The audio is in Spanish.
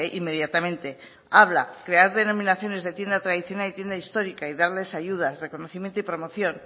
inmediatamente habla de crear denominaciones de tienda tradicional y tienda histórica y darles ayudas reconocimiento y promoción